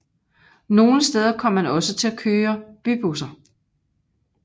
Nogle steder kom man også til at køre bybusser